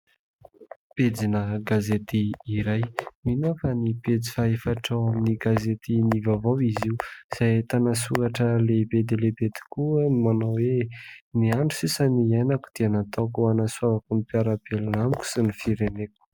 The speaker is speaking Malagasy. Pejina gazety iray, mino aho fa ny pejy fahaefatra ao amin'ny gazetin' ny vaovao izy io izay ahitana soratra lehibe dia lehibe tokoa no manao hoe " Ny andro sisa iainako dia nataoko ho hanasoavako ny mpiara-belona amiko sy ny fireneko. "